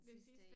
Den sidste